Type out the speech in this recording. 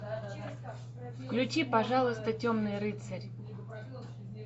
включи пожалуйста темный рыцарь